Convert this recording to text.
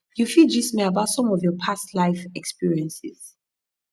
you fit gist me about some of your past life experiences